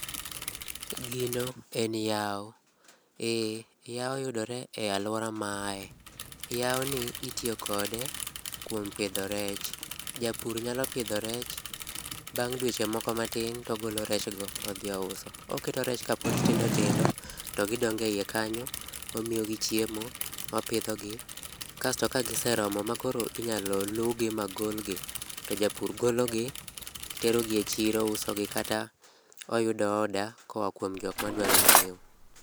Gino en yawo, ee yawo yudore e aluora ma aaye. Yawoni itiyo kode kuom pidho rech. Japur nyalo pidho rech, bang' dweche moko matin, to ogolo rech go odhi ouso. Oketo rech kapod tindo tindo to gidongo ei kanyo, omiyogi chiemo, opidhogi kasto kagise romo ma koro inyalo luwgi magolgi to japur gologi otero gi echiro kata oyudo order kuom jok madwaro nyiewo.